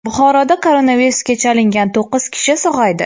Buxoroda koronavirusga chalingan to‘qqiz kishi sog‘aydi.